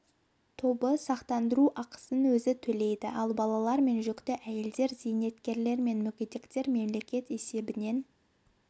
тобы сақтандыру ақысын өзі төлейді ал балалар мен жүкті әйелдер зейнеткерлер және мүгедектер мемлекет есебінен